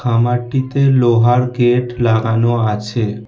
খামারটিতে লোহার গেট লাগানো আছে।